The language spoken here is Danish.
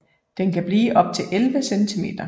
Den kan blive op til 11 cm